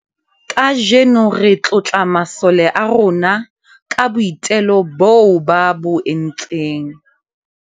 kaajeno re tlotla masole a rona ka boitelo boo ba bo entseng